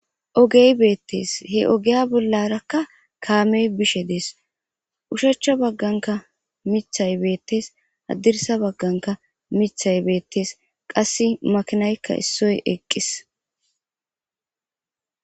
Ogey beettees he ogiya bollarakka kaamey bishe dees ushachcha bagganka mithay beettes addirsa bagganka mithay beettes qasse makinaykka issoy eqqis.